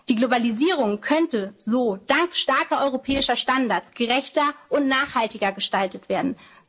zu finanzieren. Die Globalisierung könnte so dank starker europäischer Standards gerechter und nachhaltiger gestaltet